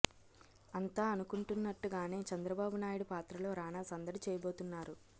అంతా అనుకుంటున్నట్టుగానే చంద్రబాబు నాయుడు పాత్రలో రానా సందడి చేయబోతు న్నారు